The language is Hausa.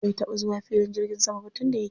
Bai taɓa zuwa filin jirgin sama ba tun da yake.